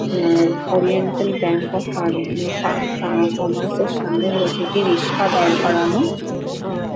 ah Oriental Bank of ফার্ম -এ ফা কমার্স -এর সামনে রয়েছে একটি রিক্সা দাঁড় করানো আহ--